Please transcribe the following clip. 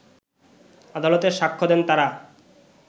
আদালতে সাক্ষ্য দেন তারা